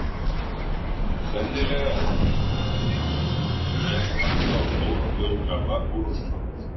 Sennilega er ekkert land í heiminum sem hefur jafnmarga og stóra þjóðgarða og Rússland.